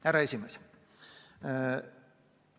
Härra juhataja!